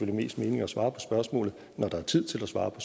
mest mening at svare på spørgsmålet når der er tid til at svare på